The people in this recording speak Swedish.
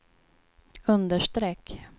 understreck